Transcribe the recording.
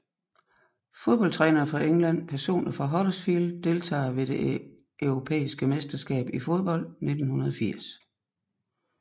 Fodboldtrænere fra England Personer fra Huddersfield Deltagere ved det europæiske mesterskab i fodbold 1980